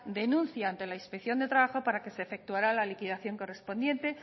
denuncia ante la inspección de trabajo para que se efectuara la liquidación correspondiente